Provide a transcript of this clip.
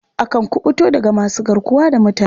Akan kuɓuto daga masu garkuwa da mutane.